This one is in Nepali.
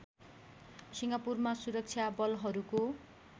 सिङ्गापुरमा सुरक्षा बलहरूको